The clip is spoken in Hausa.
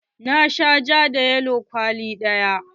Na sha ja da yalo kwali ɗaya.